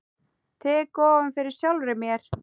Tek ofan fyrir sjálfri mér.